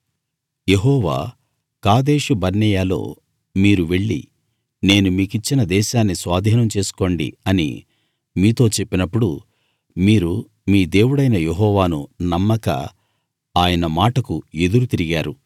యెహోవా Kadesh బర్నేయలో మీరు వెళ్లి నేను మీకిచ్చిన దేశాన్ని స్వాధీనం చేసుకోండి అని మీతో చెప్పినప్పుడు మీరు మీ దేవుడైన యెహోవాను నమ్మక ఆయన మాటకు ఎదురు తిరిగారు